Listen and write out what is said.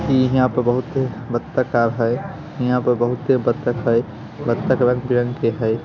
इ यहाँ पे बहुत बत्तका है। इहाँ पे बहुत बत्तख है बत्तख रंग-बिरंग के है।